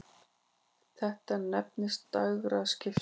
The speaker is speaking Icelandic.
Þetta nefnist dægraskipti.